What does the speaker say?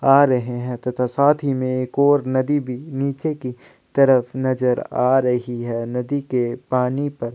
आ रहै है तथा साथ ही में एक और नदी भी नीचे की तरफ नज़र आ रही है और नदी के पानी पर --